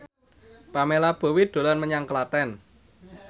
Pamela Bowie dolan menyang Klaten